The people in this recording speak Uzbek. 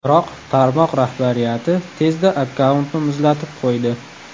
Biroq tarmoq rahbariyati tezda akkauntni muzlatib qo‘ydi.